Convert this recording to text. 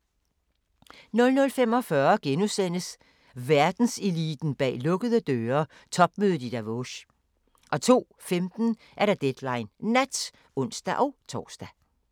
00:45: Verdenseliten bag lukkede døre: Topmødet i Davos * 02:15: Deadline Nat (ons-tor)